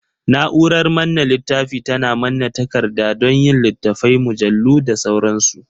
Na'urar manne littafi tana manne takarda don yin littattafai, mujallu da sauransu.